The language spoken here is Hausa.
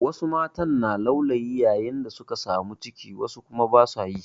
Wasu matan na laulayi yayin da suka samu ciki wasu kuma ba su yi.